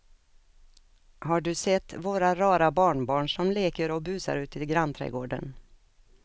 Har du sett våra rara barnbarn som leker och busar ute i grannträdgården!